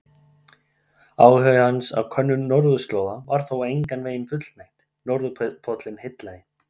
Áhuga hans á könnun norðurslóða var þó engan veginn fullnægt, norðurpóllinn heillaði.